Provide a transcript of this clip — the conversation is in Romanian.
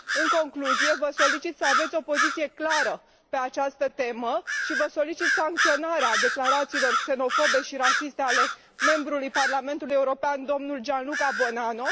În concluzie, vă solicit să aveți o poziție clară pe această temă și vă solicit sancționarea declarațiilor xenofobe și rasiste ale membrului Parlamentului European, dl Gianluca Buonanno.